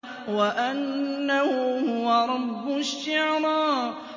وَأَنَّهُ هُوَ رَبُّ الشِّعْرَىٰ